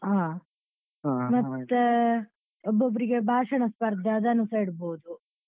ಹಾ ಮತ್ತೆ ಒಬ್ಬೊಬ್ಬರಿಗೆ ಭಾಷಣ ಸ್ಪರ್ಧೆ ಅದನ್ನುಸ ಇಡ್ಬೋದು.